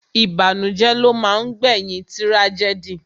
Ìbànújẹ́ ló máa ń gbé yín tírájẹ́dì